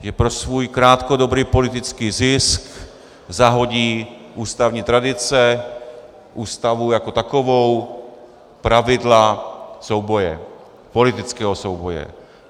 Že pro svůj krátkodobý politický zisk zahodí ústavní tradice, Ústavu jako takovou, pravidla souboje, politického souboje.